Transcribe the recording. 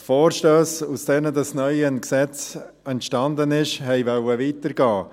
Die Vorstösse, aus denen das neue Gesetz entstanden ist, wollten weiter gehen.